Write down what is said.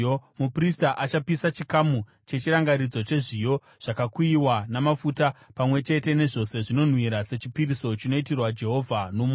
Muprista achapisa chikamu chechirangaridzo chezviyo zvakakuyiwa, namafuta, pamwe chete nezvose zvinonhuhwira, sechipiriso chinoitirwa Jehovha nomoto.